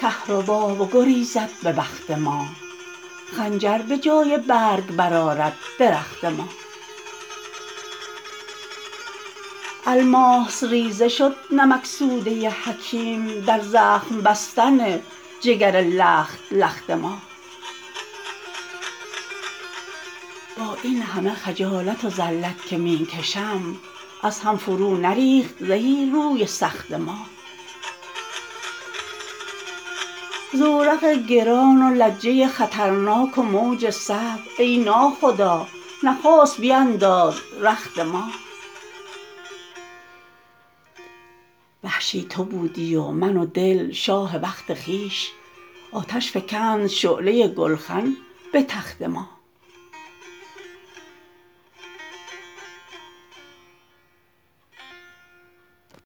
کهربا بگریزد به بخت ما خنجر به جای برگ برآرد درخت ما الماس ریزه شد نمک سوده حکیم در زخم بستن جگر لخت لخت ما با اینهمه خجالت و ذلت که می کشم از هم فرو نریخت زهی روی سخت ما زورق گران و لجه خطرناک و موج صعب ای ناخدا نخست بینداز رخت ما وحشی تو بودی و من و دل شاه وقت خویش آتش فکند شعله گلخن به تخت ما